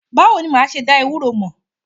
Báwo ni ma ṣe dá ewuro mọ̀?